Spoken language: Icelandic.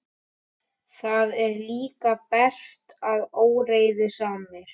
Það er líka bert að óreiðusamir